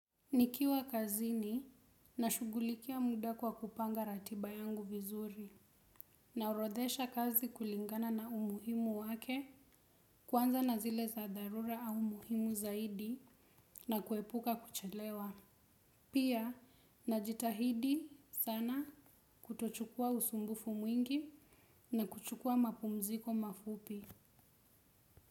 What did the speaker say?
Nikiwa kazini nashugulikia muda kwa kupanga ratiba yangu vizuri naorodhesha kazi kulingana na umuhimu wake kuanza na zile za dharura au umuhimu zaidi na kuepuka kuchelewa. Pia najitahidi sana kutochukua usumbufu mwingi na kuchukua mapumziko mafupi.